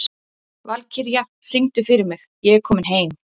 Valkyrja, syngdu fyrir mig „Ég er kominn heim“.